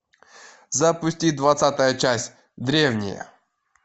запусти двадцатая часть древние